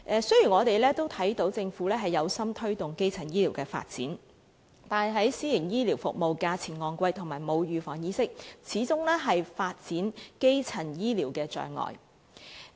雖然我們看到政府有心推動基層醫療發展，但私營醫療服務費用昂貴，以及市民缺乏預防疾病的意識，始終是基層醫療發展的障礙。